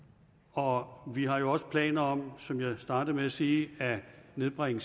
og vi har jo også planer om som jeg startede med at sige at nedbringe